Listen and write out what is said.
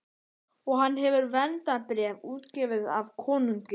Og hann hefur verndarbréf, útgefið af konungi.